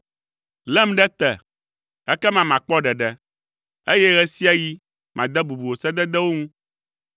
Lém ɖe te, ekema makpɔ ɖeɖe, eye ɣe sia ɣi made bubu wò sededewo ŋu.